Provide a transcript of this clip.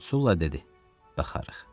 Sula dedi: Baxarıq.